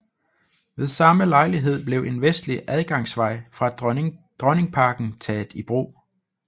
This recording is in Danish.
Ved samme lejlighed blev en vestlig adgangsvej fra Dronningparken taget i brug